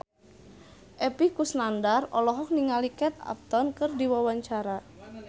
Epy Kusnandar olohok ningali Kate Upton keur diwawancara